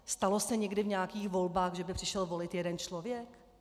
Stalo se někdy v nějakých volbách, že by přišel volit jeden člověk?